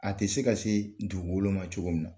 A tɛ se ka se dugu kolo ma cogo min na.